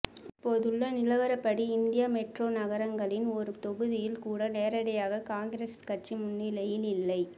இப்போதுள்ள நிலவரப்படி இந்திய மெட்ரோ நகரங்களின் ஒரு தொகுதியில் கூட நேரடியாக காங்கிரஸ் கட்சி முன்னிலையில் இல்லை